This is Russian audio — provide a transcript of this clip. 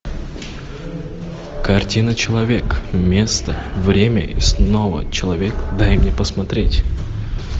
картина человек место время и снова человек дай мне посмотреть